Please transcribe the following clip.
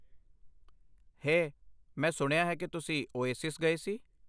ਹੇ, ਮੈਂ ਸੁਣਿਆ ਹੈ ਕਿ ਤੁਸੀਂ ਓਏਸਿਸ ਗਏ ਸੀ।